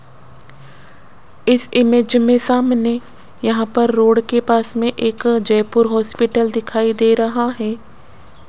इस इमेज में सामने यहां पे रोड के पास में एक जयपुर हॉस्पिटल दिखाई दे रहा है।